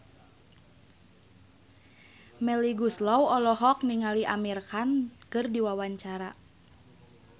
Melly Goeslaw olohok ningali Amir Khan keur diwawancara